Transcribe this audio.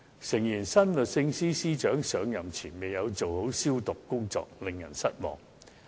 誠然，新律政司司長上任前未有做好"消毒"工作，令人失望。